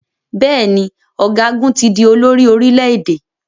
Bẹ́ẹ̀ ni, ọ̀gágun ti di olórí orílẹ̀-èdè.